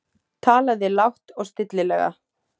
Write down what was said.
Talaði lágt og stillilega.